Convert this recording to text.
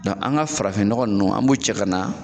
an ka farafin nɔgɔ ninnu an b'u cɛ ka na